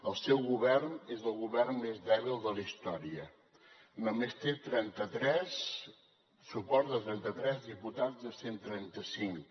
el seu govern és el govern més dèbil de la història només té el suport de trenta tres diputats de cent i trenta cinc